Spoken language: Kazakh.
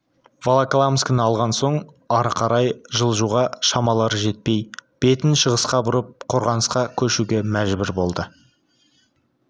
волоколамскіні алған соң ары қарай жылжуға шамалары жетпей бетін шығысқа бұрып қорғанысқа көшуге мәжбүр болды